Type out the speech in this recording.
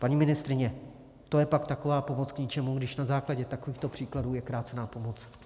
Paní ministryně, to je pak taková pomoc k ničemu, když na základě takovýchto příkladů je krácena pomoc.